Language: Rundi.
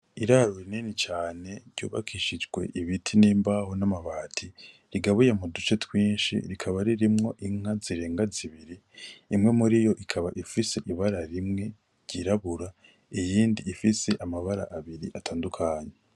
Iraro rinini cane ryubakishijwe ibiti n'imbaho na mabati rigabuye muduce twinshi rikaba ririmwo inka zirenga zibiri, imwe muriyo ikaba ifise ibara rimwe ryirabura, iyindi ifise amabara abiri atandukanye.